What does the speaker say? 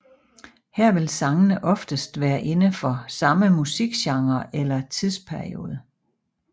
Her vil sangene oftest være inde for samme musikgenre eller tidsperiode